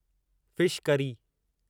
fish curry